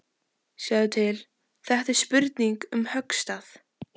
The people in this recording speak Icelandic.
Sjáðu til, þetta er spurning um höggstað.